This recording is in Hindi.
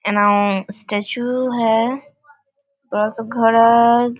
एने स्टेचू है बड़ा-सा घर है।